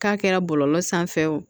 K'a kɛra bɔlɔlɔ sanfɛ